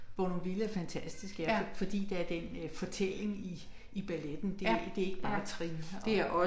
Bournonville er fantastisk ja fordi der er den øh fortælling i i balleten det det ikke bare trin og